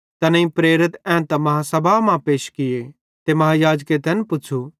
तैनेईं प्रेरित एन्तां बेड्डी आदालती मां पैश किये ते महायाजके तैन पुच़्छ़ू